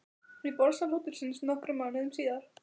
Í borðsal hótelsins nokkrum mánuðum síðar.